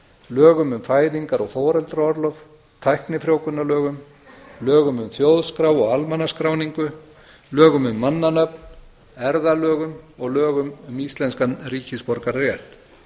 lögum um fæðingar og foreldraorlof tæknifrjóvgunarlögum lögum um þjóðskrá og almannaskráningu lögum um mannanöfn erfðalögum og lögum um íslenskan ríkisborgararétt